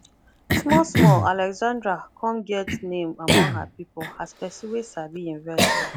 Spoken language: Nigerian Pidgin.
small small alexandra come get name among her people as person wey sabi invest well